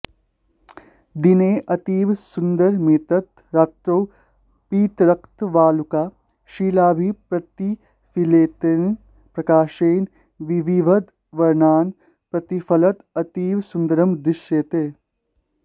दिने अतीव सुन्दरमेतत् रात्रौ पीतरक्तवालुकाशिलाभिः प्रतिफलितेन प्रकाशेन विविधवर्णान् प्रतिफलत् अतीव सुन्दरं दृश्यते